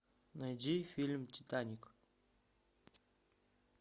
найди фильм титаник